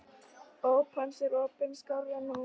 Óp hans er opin skárra nú.